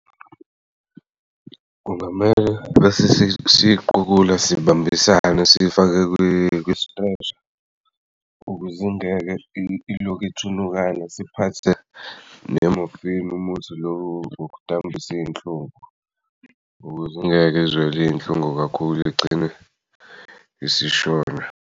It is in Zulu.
Kungamele bese siyiqukula sibambisane bese siyifaka kwi-stretcher, ukuze ungeke ilokhu ithunukala siphathe ne-morphene umuthi lo wokudambisa iyinhlungu, ukuze angeke ezwele iyinhlungu kakhulu igcine isishona.